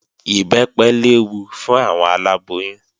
Ìbẹ́pẹ léwu fún àwọn aláboyún